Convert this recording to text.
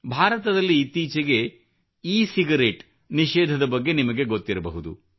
ಭಾರತದಲ್ಲಿ ಇತ್ತೀಚೆಗೆ e cigarette ನಿಷೇಧದ ಬಗ್ಗೆ ನಿಮಗೆ ಗೊತ್ತಿರಬಹುದು